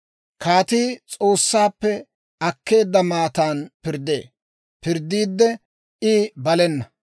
Kaatii S'oossaappe akkeedda maatan pirddee; pirddiidde I balena.